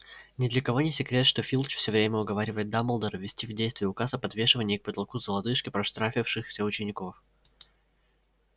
ни для кого не секрет что филч всё время уговаривает дамблдора ввести в действие указ о подвешивании к потолку за лодыжки проштрафившихся учеников